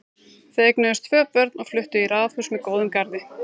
Þau eignuðust tvö börn og fluttu í raðhús með góðum garði.